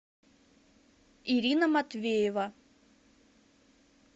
ирина матвеева